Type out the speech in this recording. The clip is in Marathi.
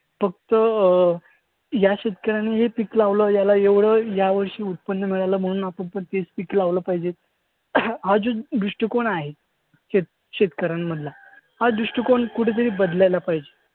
फक्त अं या शेतकऱ्याने हे पीक लावलं, याला एवढं यावर्षी उत्पन्न मिळालं म्हणून आपणपण तेच पीक लावलं पाहिजे हा जो दृष्टिकोन आहे शेत शेतकऱ्यांमधला हा दृष्टिकोन कुठंतरी बदलायला पाहिजे.